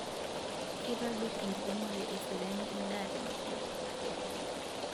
Kitobir inkiremore eseriani edaa tenkop